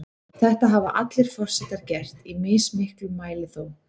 Þetta hafa allir forsetar gert, í mismiklum mæli þó.